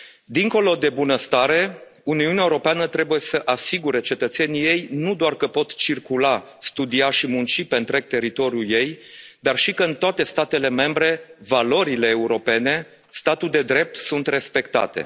Dincolo de bunăstare, Uniunea Europeană trebuie să asigure cetățenilor nu doar că pot circula, studia și munci pe întreg teritoriul ei, dar și că, în toate statele membre, valorile europene, statul de drept sunt respectate.